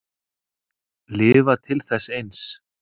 Lifa til þess eins.